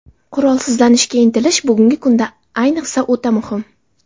Qurolsizlanishga intilish bugungi kunda ayniqsa o‘ta muhim.